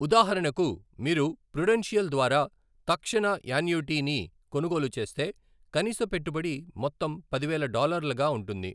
ఉదాహరణకు, మీరు పృడెన్షియల్ ద్వారా తక్షణ యాన్యుటీని కొనుగోలు చేస్తే, కనీస పెట్టుబడి మొత్తం పదివేల డాలర్లగా ఉంటుంది.